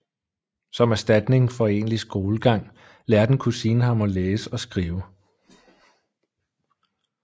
Som erstatning for egentlig skolegang lærte en kusine ham at læse og skrive